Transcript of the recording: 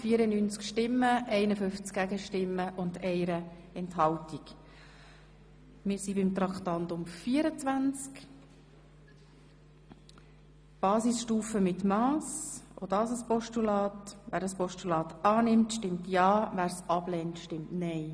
– Wer das Postulat aus Traktandum 24, Basisstufe mit Mass, annehmen will, stimmt ja, wer es ablehnt, stimmt nein.